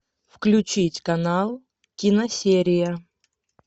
включить канал киносерия